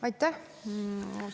Aitäh!